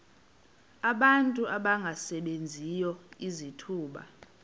abantu abangasebenziyo izithuba